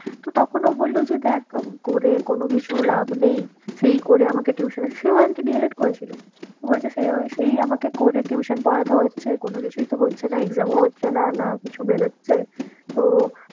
তো তখন ও বললো যে দেখ করে কোনো কিছু লাভ নেই সেই করে আমাকে tuition সেও আর কি D. el. ed করেছিল ও বলছে সেও সেই আমাকে করে tuition পড়াতে হচ্ছে কোনো কিছুই তো হচ্ছে না exam ও হচ্ছে না, না কিছু বেরোচ্ছে তো